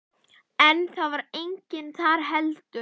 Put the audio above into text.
En það var enginn þar heldur.